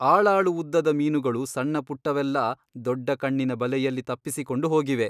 ಆಳಾಳು ಉದ್ದದ ಮೀನುಗಳು ಸಣ್ಣಪುಟ್ಟವೆಲ್ಲಾ ದೊಡ್ಡ ಕಣ್ಣಿನ ಬಲೆಯಲ್ಲಿ ತಪ್ಪಿಸಿಕೊಂಡು ಹೋಗಿವೆ.